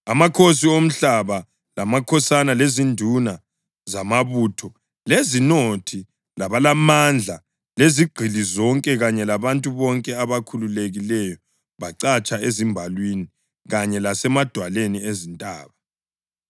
Amakhosi omhlaba lamakhosana lezinduna zamabutho lezinothi labalamandla lezigqili zonke kanye labantu bonke abakhululekileyo bacatsha ezimbalwini kanye lasemadwaleni ezintaba.